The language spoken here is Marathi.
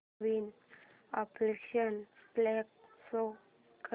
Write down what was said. नवीन अॅक्शन फ्लिक शो कर